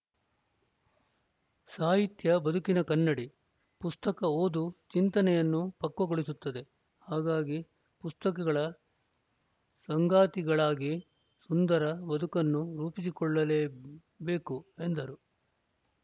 ಸಾಹಿತ್ಯ ಬದುಕಿನ ಕನ್ನಡಿ ಪುಸ್ತಕ ಓದು ಚಿಂತನೆಯನ್ನು ಪಕ್ವಗೊಳಿಸುತ್ತದೆ ಹಾಗಾಗಿ ಪುಸ್ತಕಗಳ ಸಂಗಾತಿಗಳಾಗಿ ಸುಂದರ ಬದುಕನ್ನು ರೂಪಿಸಿಕೊಳ್ಳಬೇಕು ಎಂದರು